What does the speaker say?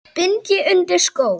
bind ég undir skó